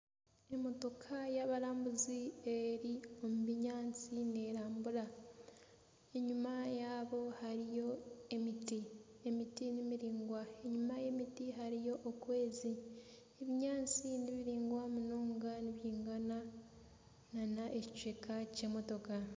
Emotoka y'abarambuzi eri omu binyaatsi nerambura enyuma yaabo hariyo emiti, emiti miraingwa enyuma y'emiti hariyo okwezi, ebinyaasti nibiraingwa munonga nibyigana n'ekicweka ky'emotoka.